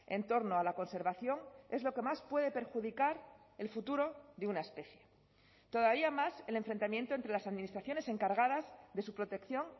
en torno a la conservación es lo que más puede perjudicar el futuro de una especie todavía más el enfrentamiento entre las administraciones encargadas de su protección